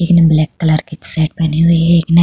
एक ने black colour की एक सेट पहनी हुई है। एक ने --